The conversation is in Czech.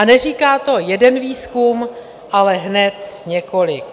A neříká to jeden výzkum, ale hned několik.